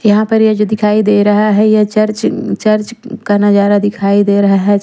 यहाँ पर ये जो दिखाई दे रहा है ये चर्च एम् का नजारा दिखाई दे रहा है।